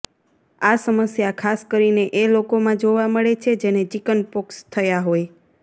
આ સમસ્યા ખાસ કરીને એ લોકોમાં જોવા મળે છે જેને ચિકન પોક્સ થયા હોય